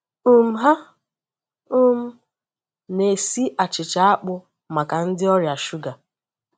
um Ha um na-esi achịcha akpụ maka ndị ọrịa shuga.